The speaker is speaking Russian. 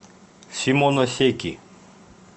симоносеки